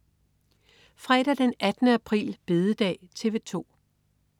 Fredag den 18. april. Bededag - TV 2: